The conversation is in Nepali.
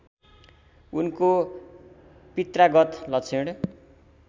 उनको पित्रागत लक्षण